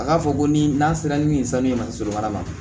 A k'a fɔ ko ni n'an sera ni nin sanu ye mali mara